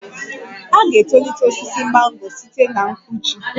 A ga-etolite osisi mango site na mgbuji